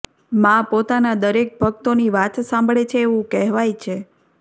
મા પોતાના દરેક ભક્તોની વાત સાંભળે છે એવું કહેવાય છે